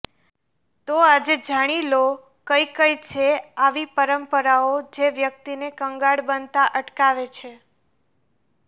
તો આજે જાણી લો કઈ કઈ છે આવી પરંપરાઓ જે વ્યક્તિને કંગાળ બનતા અટકાવે છે